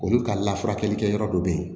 Olu ka lafasali kɛyɔrɔ dɔ be yen